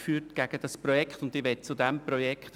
Wir haben gegen das Projekt Beschwerde geführt.